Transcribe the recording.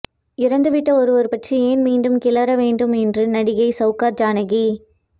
இறந்துவிட்ட ஒருவர் பற்றி ஏன் மீண்டும் கிளற வேண்டும் என்று நடிகை சௌகார் ஜானகி